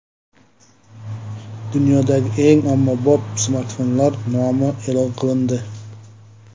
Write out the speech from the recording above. Dunyodagi eng ommabop smartfonlar nomi e’lon qilindi.